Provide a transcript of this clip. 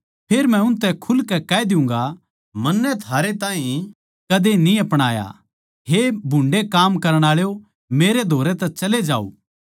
फेर मै उनतै खुलकै कह दियुँगा मन्नै थारै ताहीं कदे न्ही अपणाया हे भुन्डे़ काम करण आळो मेरै धोरै तै चले जाओ